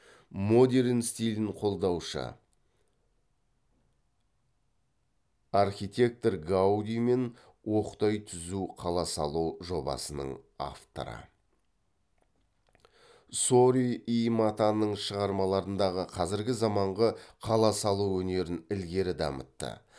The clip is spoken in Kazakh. модерн стилін қолдаушы архитектор гауди мен оқтай түзу қала салу жобасының авторы сори и матаның шығарм ғы қазіргі заманғы қала салу өнерін ілгері дамытты